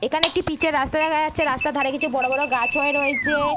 এখানে একটি পিচের রাস্তা দেখা যাচ্ছে রাস্তার ধারে কিছু বড়ো বড়ো গাছ হয়ে রয়েছে।